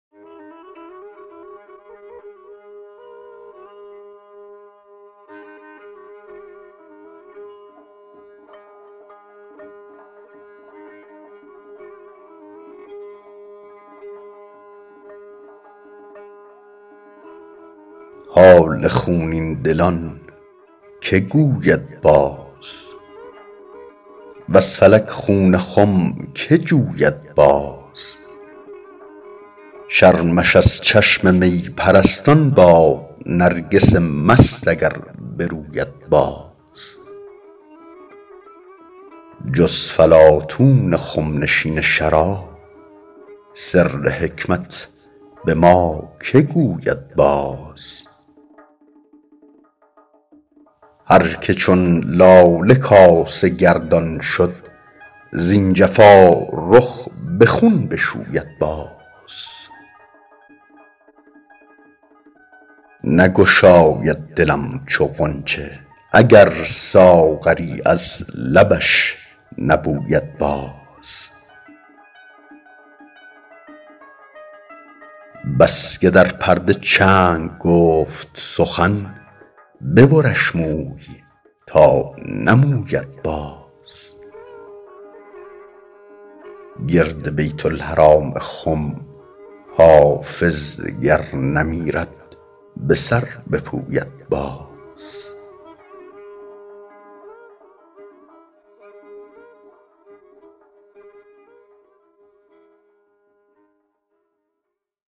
حال خونین دلان که گوید باز وز فلک خون خم که جوید باز شرمش از چشم می پرستان باد نرگس مست اگر بروید باز جز فلاطون خم نشین شراب سر حکمت به ما که گوید باز هر که چون لاله کاسه گردان شد زین جفا رخ به خون بشوید باز نگشاید دلم چو غنچه اگر ساغری از لبش نبوید باز بس که در پرده چنگ گفت سخن ببرش موی تا نموید باز گرد بیت الحرام خم حافظ گر نمیرد به سر بپوید باز